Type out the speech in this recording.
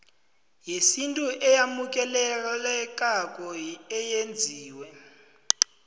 yesintu eyamukelekako eyenziwe